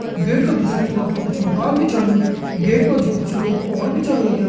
गेट का दुसरी तरफ कुछ मकान भी छन गेट मा जी कुछ लोग ओण भी छन लग्यां।